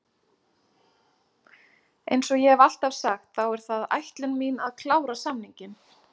Eins og ég hef alltaf sagt, þá er það ætlun mín að klára samninginn.